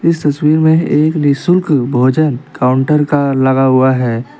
इस तस्वीर में एक निशुल्क भोजन काउंटर का लगा हुआ है.